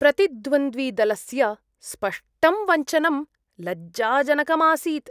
प्रतिद्वन्द्विदलस्य स्पष्टं वञ्चनं लज्जाजनकम् आसीत्।